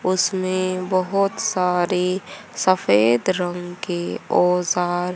उसमें बहोत सारे सफेद रंग के औजार--